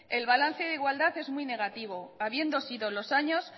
el balance de igualdad es muy negativo habiendo sido los años